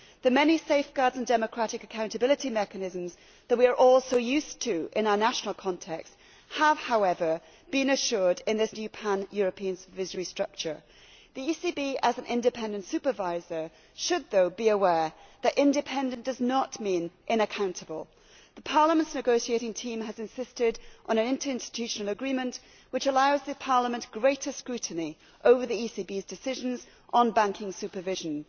The many safeguards and democratic accountability mechanisms that we are all used to in our national context have been assured in this new pan European supervisory structure, although the ECB, as an independent supervisor, should be aware that independent does not mean unaccountable. Parliament's negotiating team has insisted on an interinstitutional agreement which allows Parliament greater scrutiny over the ECB's decisions on banking supervision.